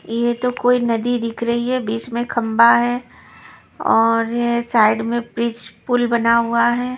यह तो कोई नदी दिख रही है बीच में खंबा है और यह साइड में ब्रिज पुल बना हुआ है।